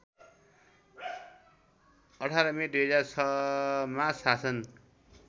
१८ May २००६ मा शासन